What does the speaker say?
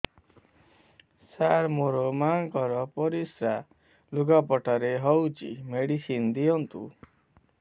ସାର ମୋର ମାଆଙ୍କର ପରିସ୍ରା ଲୁଗାପଟା ରେ ହଉଚି ମେଡିସିନ ଦିଅନ୍ତୁ